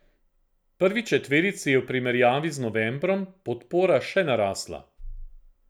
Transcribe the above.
Prvi četverici je v primerjavi z novembrom podpora še narasla.